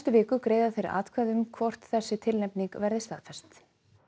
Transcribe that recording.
viku greiða þeir atkvæði um hvort þessi tilnefning verði staðfest